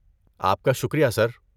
آپ کا شکریہ، سر۔